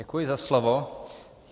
Děkuji za slovo.